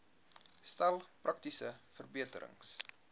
stel praktiese verbeterings